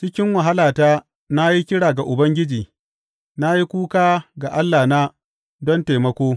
Cikin wahalata na yi kira ga Ubangiji; Na yi kuka ga Allahna don taimako.